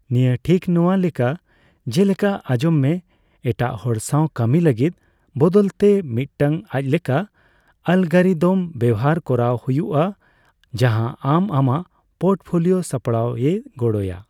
ᱱᱤᱭᱟᱹ ᱴᱷᱤᱠ ᱱᱚᱣᱟ ᱞᱮᱠᱟ ᱡᱮᱞᱮᱠᱟ ᱟᱧᱡᱚᱢᱮᱼ ᱮᱴᱟᱜ ᱦᱚᱲ ᱥᱟᱣ ᱠᱟᱹᱢᱤ ᱞᱟᱹᱜᱤᱫ ᱵᱚᱫᱚᱞᱛᱮ, ᱢᱤᱫᱴᱟᱝ ᱟᱡᱞᱮᱠᱟ ᱟᱞᱜᱚᱨᱤᱫᱚᱢ ᱵᱮᱵᱦᱟᱨ ᱠᱚᱨᱟᱣ ᱦᱩᱭᱩᱜᱼᱟ ᱡᱟᱦᱟ ᱟᱢ ᱟᱢᱟᱜ ᱯᱳᱨᱴᱯᱷᱳᱞᱤᱣ ᱥᱟᱯᱲᱟᱣ ᱭᱮ ᱜᱚᱲᱚ ᱭᱟ᱾